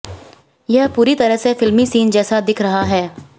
यह पूरी तरह से फिल्मी सीन जैसा दिख रहा है